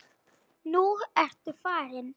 Nú ertu farinn.